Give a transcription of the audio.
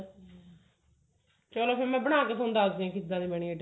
ਚਲੋ ਫ਼ੇਰ ਮੈਂ ਬਣਾ ਕੇ ਦੱਸਦੀ ਹਾਂ